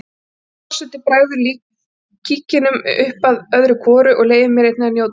Vigdís forseti bregður kíkinum upp öðru hvoru og leyfir mér einnig að njóta góðs af.